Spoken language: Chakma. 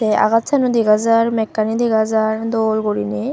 agajano degajar mekgani degajar dol gurine.